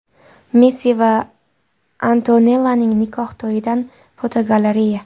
Messi va Antonellaning nikoh to‘yidan fotogalereya.